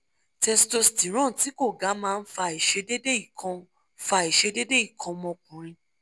testosterone ti ko gaa ma n fa àìṣedéédéé ikan fa àìṣedéédéé ikan ọmọkùnrin